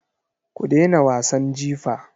Ku dena wasan jifa.